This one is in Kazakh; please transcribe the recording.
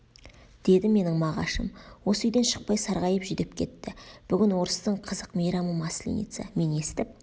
деді менің мағашым осы үйден шықпай сарғайып жүдеп кетті бүгін орыстың қызық мейрамы масленица мен естіп